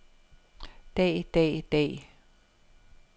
dag dag dag